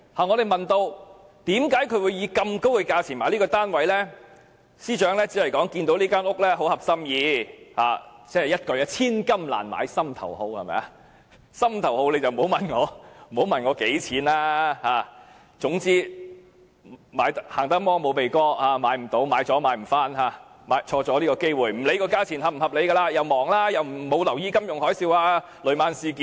我們問她為何會以這麼高的價錢買入該物業，她只是說該物業很合心意——一言以蔽之，"千金難買心頭好"，心頭好不問價錢——生怕遲了會買不到，不想錯過機會，所以不理價錢是否合理，而且她太忙，沒有留意金融海嘯和雷曼事件。